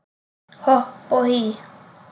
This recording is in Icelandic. Hopp og hí